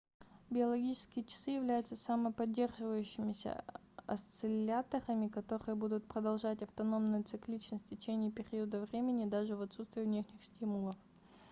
биологические часы являются самоподдерживающимися осцилляторами которые будут продолжать автономную цикличность в течение периода времени даже в отсутствие внешних стимулов